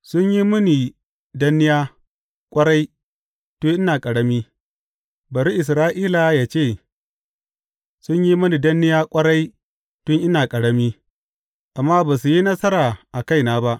Sun yi mini danniya ƙwarai tun ina ƙarami, bari Isra’ila yă ce, sun yi mini danniya ƙwarai tun ina ƙarami, amma ba su yi nasara a kaina ba.